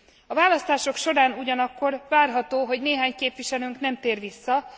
A választások során ugyanakkor várható, hogy néhány képviselőnk nem tér vissza.